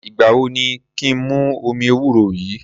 Ìgbà wo ni kí n mu omi ewúro yìí?